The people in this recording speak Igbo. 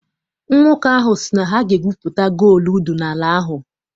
Nwoke ahụ sị na ha ga- egwupụta gooludu n'ala ahụ.